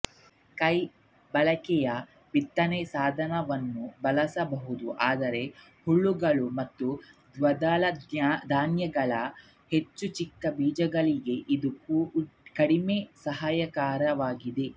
ಕೈ ಬಳಕೆಯ ಬಿತ್ತನೆ ಸಾಧನವನ್ನು ಬಳಸಬಹುದು ಆದರೆ ಹುಲ್ಲುಗಳು ಮತ್ತು ದ್ವಿದಳಧಾನ್ಯಗಳ ಹೆಚ್ಚು ಚಿಕ್ಕ ಬೀಜಗಳಿಗೆ ಇದು ಕಡಿಮೆ ಸಹಾಯಕವಾಗಿದೆ